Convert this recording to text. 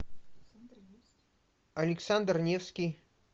александр невский